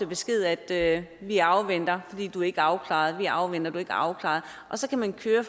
besked at vi afventer fordi du ikke er afklaret vi afventer fordi du ikke er afklaret og så kan man køre